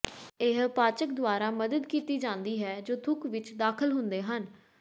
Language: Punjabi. ਇਹ ਪਾਚਕ ਦੁਆਰਾ ਮਦਦ ਕੀਤੀ ਜਾਂਦੀ ਹੈ ਜੋ ਥੁੱਕ ਵਿੱਚ ਦਾਖਲ ਹੁੰਦੇ ਹਨ